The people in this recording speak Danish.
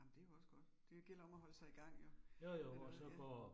Ej men det jo også godt. Det gælder om at holde sig i gang jo, eller hvad ja